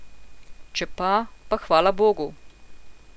Če pa, pa hvala bogu.